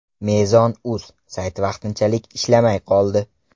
Mezon.uz sayti vaqtinchalik ishlamay qoldi.